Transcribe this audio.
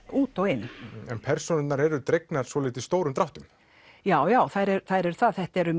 út og inn persónurnar eru dregnar svolítið stórum dráttum já já þær eru það þetta eru